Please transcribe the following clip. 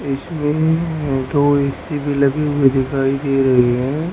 इसमें अह दो ए_सी भी लगी हुई दिखाई दे रही हैं।